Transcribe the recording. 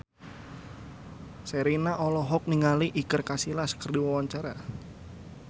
Sherina olohok ningali Iker Casillas keur diwawancara